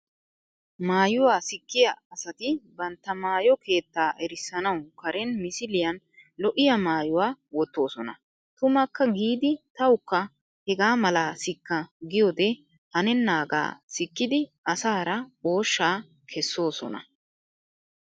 Maayuwaa sikkiyaa asati bantta maayo keettaa erissanawu karen misiliyan lo"iyaa maayuwa wottoosona. Tumakka giidi tawukka hegaa malaa sikka giyoodee hanennaagaa sikkidi asaara ooshshaa kessoosona.